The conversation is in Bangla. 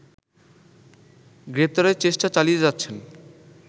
গ্রেপ্তারের চেষ্টা চালিয়ে যাচ্ছেন